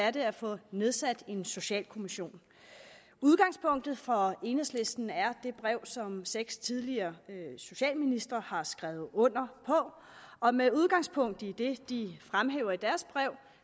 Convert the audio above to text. at det er at få nedsat en socialkommission udgangspunktet for enhedslisten er det brev som seks tidligere socialministre har skrevet under på og med udgangspunkt i det de fremhæver i deres brev